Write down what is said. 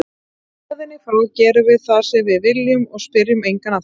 Héðan í frá gerum við það sem við viljum og spyrjum engan að því.